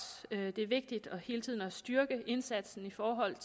det er vigtigt hele tiden at styrke indsatsen i forhold